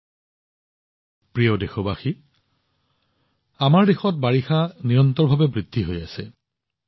মোৰ মৰমৰ দেশবাসীসকল আমাৰ দেশত বাৰিষা নিৰন্তৰভাৱে বিস্তাৰিত হৈ আছে